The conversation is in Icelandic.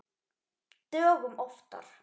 Dögum oftar.